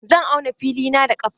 Zan auna filina da ƙafa.